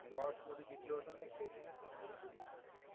लॉट्समध्ये जिंकलं होतं ना एक टेस्ट मॅच सांगली केली होती